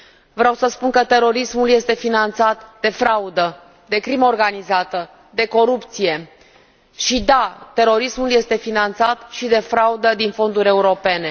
Vreau să spun că terorismul este finanțat de fraudă, de crimă organizată, de corupție și, da, terorismul este finanțat și de fraudă din fonduri europene.